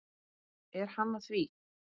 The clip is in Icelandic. Er hann að því?